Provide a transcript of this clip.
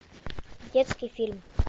детский фильм